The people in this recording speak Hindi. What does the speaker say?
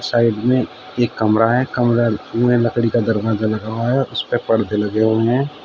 साइड में एक कमरा है कमरे में लकड़ी का दरवाजा लगा हुआ है उसपे पर्दे लगे हुए हैं।